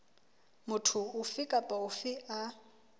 motho ofe kapa ofe a